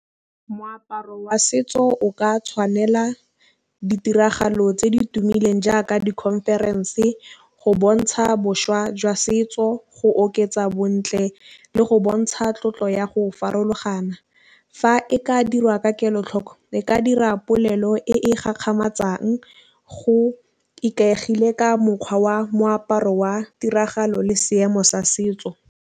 Moaparo wa setso o ka tšhwanela ditiragalo tse di tumileng jaaka di-conference go bontšha boswa jwa setso go oketsa bontle le go bontšha tlotlo ya go farologana. Fa e ka dirwa ka kelotlhoko e ka dira polelo e go ikaegile ka mokgwa wa moaparo wa tiragalo le seemo sa setso.